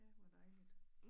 Ja hvor dejligt